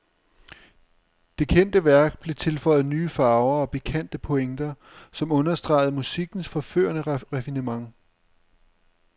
Det kendte værk blev tilføjet nye farver og pikante pointer, som understregede musikkens forførende raffinement.